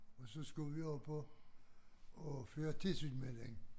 Og så skulle vi op og og føre tilsyn med den